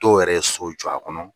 Dɔw yɛrɛ so jɔ a kɔnɔ.